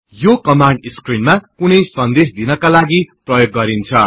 यो कमान्ड स्क्रिनमा कुनै सन्देश दिनका लागि प्रयोग गरिन्छ